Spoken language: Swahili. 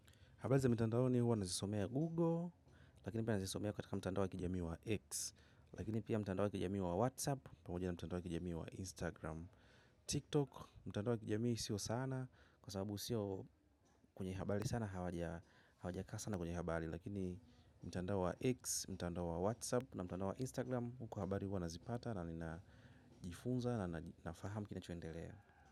Habari za mtandaoni huwa nazisomea Google, lakini pia nazisomea kataka mtandao wa kijamii wa X, lakini pia mtandao wa kijamii wa WhatsApp, pamoja na mtandao wa kijamii wa Instagram, TikTok. Mtandao wa kijami sio sana, kwa sababu, sio kwenye habari sana, hawajakaa sana kwenye habari, lakini mtandao wa "X", mtandao wa "WhatsApp" na mtandao wa "Instagram" huku habari huwa nazipata na ninajifunza na nafahamu kinachoendelea.